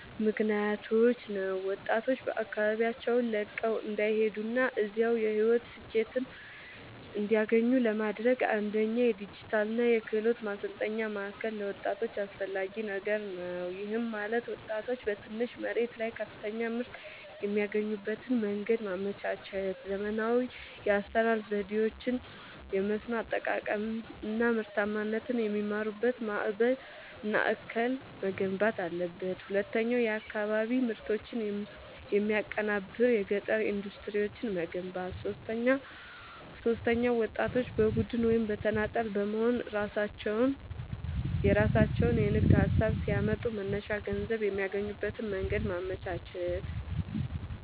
ምክኒያቶች ነው። ወጣቶች አካባቢያቸውን ለቀው እንዳይሄዱና እዚያው የሕይወት ስኬትን እንዲያገኙ ለማድረግ፣ አንደኛ የዲጂታልና የክህሎት ማሠልጠኛ ማእከል ለወጣቶች አስፈላጊ ነገር ነው። ይህም ማለት ወጣቶች በትንሽ መሬት ላይ ከፍተኛ ምርት የሚያገኙበትን መንገድ ማመቻቸት፣ ዘመናዊ የአሠራር ዘዴዎችን፣ የመስኖ አጠቃቀም አናምርታማነትን የሚማሩበት ማእከል መገንባት አለበት። ሁለተኛው የአካባቢ ምርቶችን የሚያቀናብር የገጠር ኢንዱስትሪዎችን መገንባት። ሦስተኛው ወጣቶች በቡድን ወይም በተናጠል በመሆንየራሣቸውን የንግድ ሀሳብ ሲያመጡ መነሻ ገንዘብ የሚያገኙበትን መንገድ ማመቻቸት።